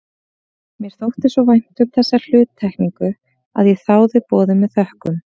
Mér þótti svo vænt um þessa hluttekningu að ég þáði boðið með þökkum.